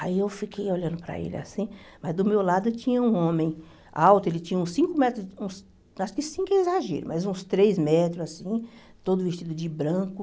Aí eu fiquei olhando para ele assim, mas do meu lado tinha um homem alto, ele tinha uns cinco metros, uns acho que cinco é exagero, mas uns três metros, assim, todo vestido de branco.